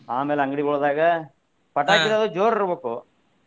ಆಮೇಲೆ ಅಂಗ್ಡಿಗೊದಾಗ ಜೋರ್ ಇರ್ಬೇಕು.